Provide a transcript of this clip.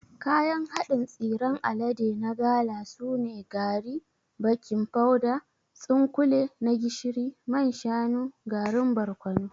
Kayan haɗin tsiran alade na gala sune: gari, baking powder, tsunkule na gishiri, man shanu, garin barkono.